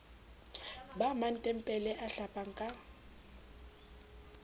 ba matebele a hlapang ka